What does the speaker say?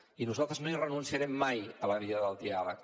i nosaltres no hi renunciarem mai a la via del diàleg